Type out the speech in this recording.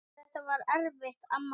Þetta var erfitt amma mín.